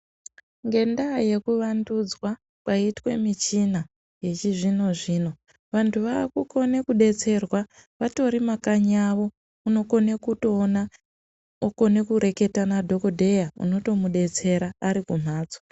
Ngendaa yekuvandudzwa kwaitwa michina yechizvino zvino vantu vaakukone kudetserwa vatori makanyi kwavo unokone kutoona otoreketa nadhokodheya unokone kumudetsera arikumhatso.